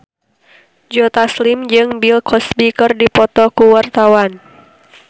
Joe Taslim jeung Bill Cosby keur dipoto ku wartawan